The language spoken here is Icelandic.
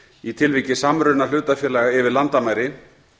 í tilviki samruna hlutafélaga yfir landamæri